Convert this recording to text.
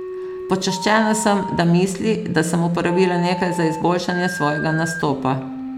Počaščena sem, da misli, da sem uporabila nekaj za izboljšanje svojega nastopa.